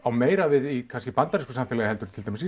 meira við í bandarísku samfélagi heldur en til dæmis